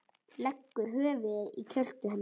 Leggur höfuðið í kjöltu hennar.